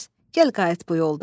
Gəl qayıt bu yoldan.